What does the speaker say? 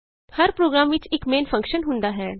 ਹਰ program ਵਿਚ ਇਕ main function ਹੁੰਦਾ ਹੈ